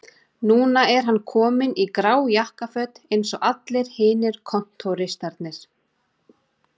Núna er hann kominn í grá jakkaföt eins og allir hinir kontóristarnir